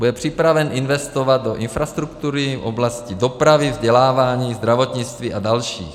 Bude připraven investovat do infrastruktury v oblasti dopravy, vzdělávání, zdravotnictví a dalších.